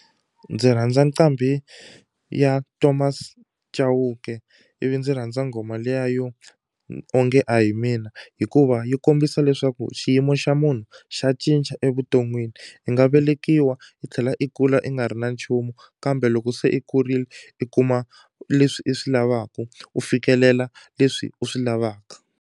Ndzi rhandza nqambi ya Thomas Chauke ivi ndzi rhandza nghoma liya yo onge a hi mina hikuva yi kombisa leswaku xiyimo xa munhu xa cinca evuton'wini i nga velekiwa i tlhela i kula i nga ri na nchumu kambe loko se i kurile i kuma leswi i swi lavaku u fikelela leswi u swi lavaka.